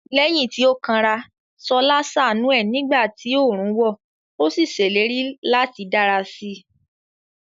Lẹ́yìn tí ó kanra, Ṣọlá ṣàánú ẹ̀ nígbà tí oòrùn wọ̀, ó sì ṣèlérí láti dára sí i.